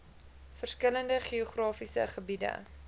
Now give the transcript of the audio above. verskillende geografiese gebiede